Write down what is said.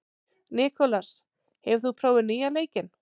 Nikolas, hefur þú prófað nýja leikinn?